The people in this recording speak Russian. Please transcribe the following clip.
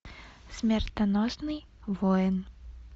смертоносный воин